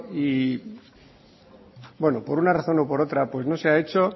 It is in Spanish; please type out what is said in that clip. y por una razón o por otra pues no se ha hecho